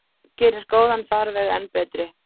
Gerir góðan farveg enn betri.